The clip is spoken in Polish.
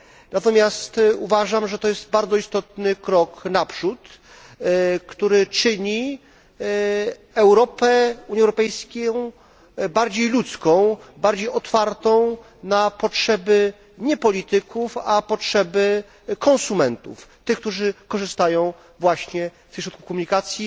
Natomiast, uważam, że to jest bardzo istotny krok naprzód, który czyni Europę, Unię Europejską bardziej ludzką, bardziej otwartą na potrzeby nie polityków, ale potrzeby konsumentów tych, którzy korzystają właśnie ze środków komunikacji.